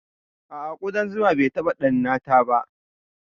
A'a, kuɗan zuma bai taɓa ɗannata ba.